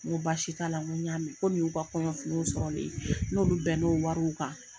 N' ko baasi t'a la n ko y'a mɛn ko nin y'u ka kɔɲɔfiniw sɔrɔ len ye n n'olu bɛn n'o wariw kan